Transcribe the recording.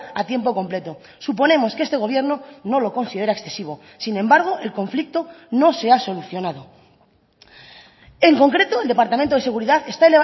a tiempo completo suponemos que este gobierno no lo considera excesivo sin embargo el conflicto no se ha solucionado en concreto el departamento de seguridad está